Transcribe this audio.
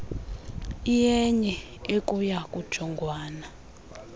iyenye ekuya kujongwana